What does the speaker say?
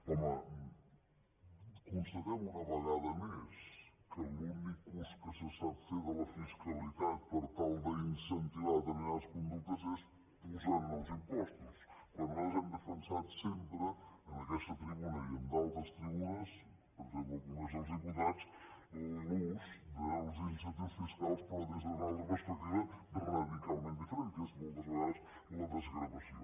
home constatem una vegada més que l’únic ús que se sap fer de la fiscalitat per tal d’incentivar determinades conductes és posar nous impostos quan nosaltres hem defensat sempre en aquesta tribuna i en d’altres tribu·nes per exemple al congrés dels diputats l’ús dels incentius fiscals però des d’una altra perspectiva radi·calment diferent que és moltes vegades la desgrava·ció